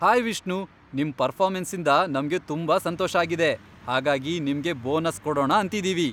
Hi Vishnu, ನಿಮ್ ಪರ್ಫಾರ್ಮೆನ್ಸಿಂದ ನಮ್ಗೆ ತುಂಬಾ ಸಂತೋಷ ಆಗಿದೆ, ಹಾಗಾಗಿ ನಿಮ್ಗೆ ಬೋನಸ್ ಕೊಡೋಣ ಅಂತಿದೀವಿ.